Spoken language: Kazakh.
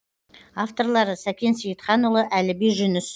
авторлары сәкен сейітханұлы әліби жүніс